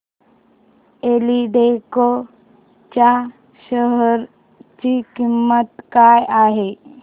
एल्डेको च्या शेअर ची किंमत काय आहे